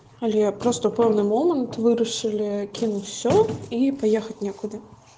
алло я просто полный момент вы решили кинуть все и поехать никуда